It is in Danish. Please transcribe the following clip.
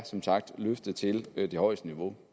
som sagt er løftet til det højeste niveau